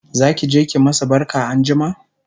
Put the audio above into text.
zakije ki masu barka anjima?